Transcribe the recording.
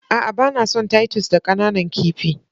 A'a, ba na son titus da ƙananan kifi.